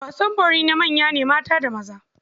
Wasan bori na manya ne mata da maza.